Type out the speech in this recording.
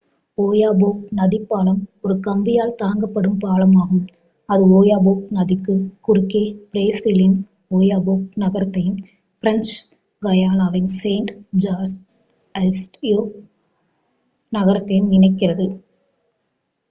Oyapock நதிப்பாலம் ஒரு கம்பியால் தாங்கப்படும் பாலம் ஆகும் அது ஓயபோக் நதிக்குக் குறுக்கே பிரேசிலின் ஓயபோக் நகரத்தையும் பிரெஞ்ச் காயானாவின் செயிண்ட் ஜார்ஜஸ் டி ஓயபோக் நகரத்தையும் இணைக்கிறது